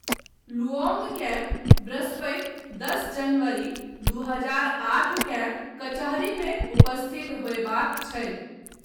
लुओंगकेँ बृहस्पति दश जनवरी, दू हजार आठ केँ कचहरीमे उपस्थित होयबाक छै।